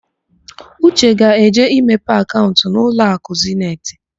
Uche ga-eje imepe akaụnt n'ụlọakụ Zeniti.